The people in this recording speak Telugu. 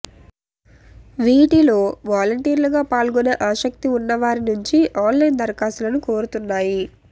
వీటిలో వాలంటీర్లుగా పాల్గొనే ఆసక్తి ఉన్నవారి నుంచి ఆన్లైన్ దరఖాస్తులను కోరుతున్నాయి